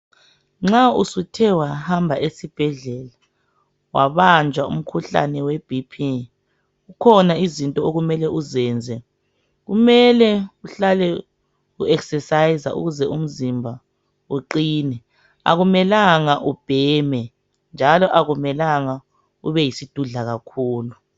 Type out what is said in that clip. Nxa usuthe wahamba esibhedlela wabanjwa umkhuhlane weBp zikhona izinto okumele uzenze, kumele uhlale uzivoxavoxa ukuze umzimba uqine akumelanga ubheme njalo akumelanga ubeyisidudla kakhulu.